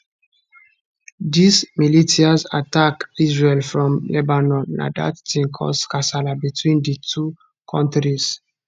diz militias attack israel from lebanon na dat tin cause di kasala between di two kontris